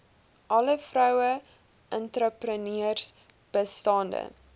alle vroueentrepreneurs bestaande